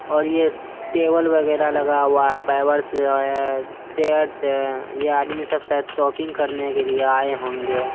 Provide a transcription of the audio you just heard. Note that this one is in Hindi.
और ये टेबल बगेरा लगा हुआ है पाइबर्स है चेयर्स है यह आदमी सब शायद शॉपिंग करने के लिए आए होंगे।